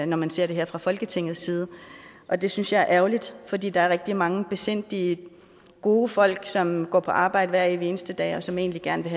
når man ser det her fra folketingets side og det synes jeg er ærgerligt fordi der er rigtig mange besindige gode folk som går på arbejde hver evig eneste dag og som egentlig gerne vil